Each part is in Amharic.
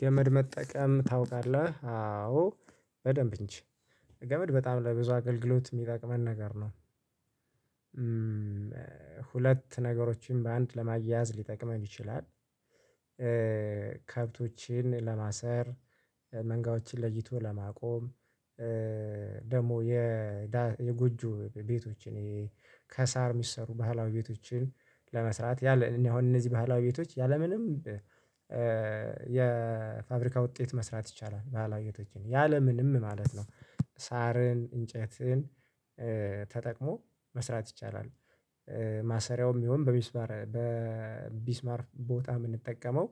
ገመድ መጠቀም ታውቃለህ አዎ በደንብ እንጂ ገመድ በጣም ለብዙ አገልግሎት የሚጠቅመን ነገር ነው። ሁለት ነገሮችን በአንድ ለማያያዝ ሊጠቅመን ይችላል። ከብቶችን ለማሰር መንጋዎችን ለይቶ ለማቆም። ደግሞ የ የጉጆ ቤቶችን ከሳር የሚሰሩ ባህላዊ ቤቶችን ለመስራት ያለ እኔ አሁን እነዚህ የባህላዊ ቤቶች ያለምንም የፋብሪካ ውጤት መስራት ይቻላል ባህላዊ ቤቶችን ያለምንም ማለት ነው። ሳርን እንጨትን ተጠቅሞ መስራት ይቻላል። ማሰሪያውም ይሁን በቢስማር በቢስማር ቦታ የምንጠቀመው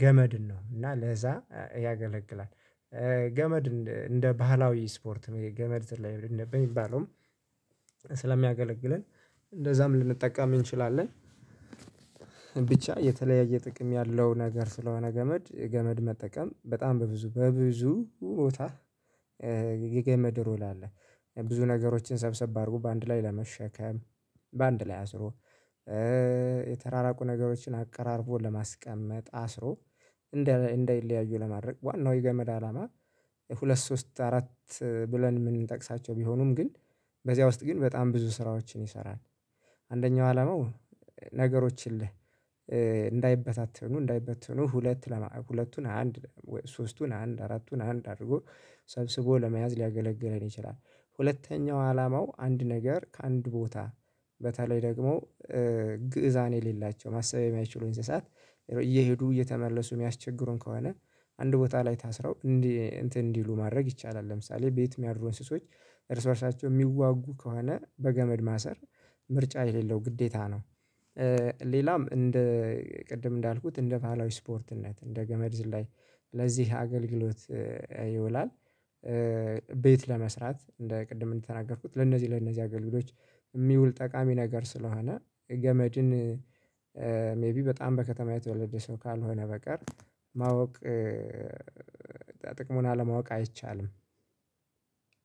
ገመድን ነው እና ለዛ ያገለግላል። ገመድ እንደ ባህላዊ ስፖርት ነው የገመድ ዘላይ በሚባለውም ስለሚያገለግለን እንደዛም ልንጠቀም እንችላለን። ብቻ የተለያየ ጥቅም ያለው ነገር ስለሆነ ገመድ ገመድ መጠቀም በጣም በብዙ በብዙ ቦታ የገመድ ሮል አለ። ብዙ ነገሮችን ሰብሰብ አድርጎ በአንድ ላይ ለመሸከም በአንድ ላይ አስሮ የተራራቁ ነገሮችን አቀራርቦ ለማስቀመጥ አስሮ እንደ እንደይለያዩ ለማድረግ ዋናው የገመድ አላማ። ሁለት ሶስት አራት ብለን የምንጠቅሳቸው ቢሆኑም ግን በዚያ ውስጥ ግን በጣም ብዙ ስራዎችን ይሰራል። አንደኛው አላማው ነገሮችን እንዳይበታተኑ እንዳይበተኑ ሁለት ሁለቱን አንድ ሶስቱን አንድ አራቱን አንድ አድርጎ ሰብስቦ ለመያዝ ሊያገለግለን ይችላል። ሁለተኛው አላማው አንድ ነገር ከአንድ ቦታ በተለይ ደግሞ ግእዛን የሌላቸው ማሰብ የማይችሉ እንስሳት እየሄዱ እየተመለሱ የሚያስቸግሩን ከሆነ አንድ ቦታ ላይ ታስረው እንትን እንዲሉ ማድረግ ይቻላል ለምሳሌ ቤት የሚያድሩ እንስሶች እርስ በእርሳቸው የሚዋጉ ከሆነ በገመድ ማሰር ምርጫ የሌለው ግዴታ ነው። ሌላም እንደ ቅድም እንዳልኩት እንደ ባህላዊ ስፖርትነት እንደ ገመድ ዝላይ ለዚህ አገልግሎት ይውላል። ቤት ለመስራት እንደ ቅድም እንደተናገርኩት ለነዚህ ለነዚህ አገልግሎት የሚውል ጠቃሚ ነገር ስለሆነ ገመድን ሜቢ በጣም በከተማ የተወለደ ሰው ካልሆነ በቀር ማወቅ ጥቅሙን አለማወቅ አይቻልም።